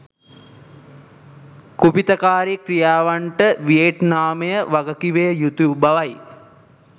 කුපිතකාරී ක්‍රියාවන්ට වියෙට්නාමය වගකිව යුතු බවයි